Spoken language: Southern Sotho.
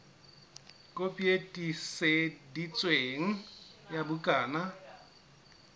kopi e tiiseditsweng ya bukana